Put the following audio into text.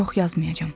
Çox yazmayacam.